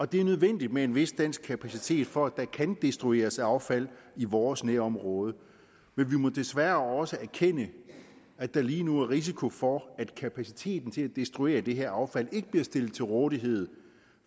det er nødvendigt med en vis dansk kapacitet for at der kan destrueres affald i vores nærområde men vi må desværre også erkende at der lige nu er risiko for at kapaciteten til at destruere det her affald ikke bliver stillet til rådighed